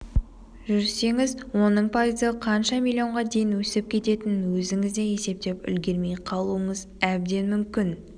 жүрсеңіз оның пайызы қанша миллионға дейін өсіп кететінін өзіңіз де есептеп үлгермей қалуыңыз әбден мүмкін